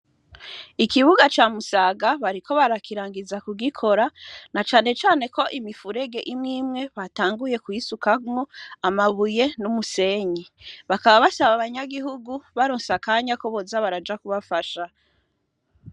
Ikibuga camusaga bariko barakirangiza kugikora na canecane ko imifurege imwe imwe batanguye kwisukanwo amabuye n'umusenyi bakaba basaba abanyagihugu baronseakanya ko boza baraja kubafasha.